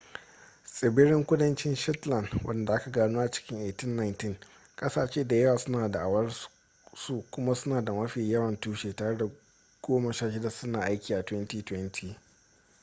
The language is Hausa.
tsibirin kudancin shetland wanda aka gano a cikin 1819 kasashe da yawa suna da'awar su kuma suna da mafi yawan tushe tare da goma sha shida suna aiki a 2020